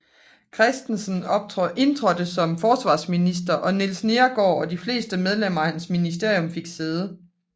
Christensen indtrådte som forsvarsminister og Niels Neergaard og de fleste medlemmer af hans ministerium fik sæde